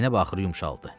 Zeynəb axır yumşaldı.